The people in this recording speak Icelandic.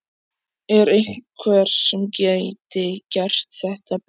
Er einhver sem gæti gert þetta betur?